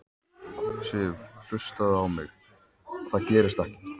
Sif. hlustaðu á mig. það gerist ekkert!